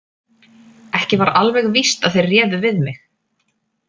Ekki var alveg víst að þeir réðu við mig.